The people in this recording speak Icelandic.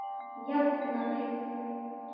Jafna mig!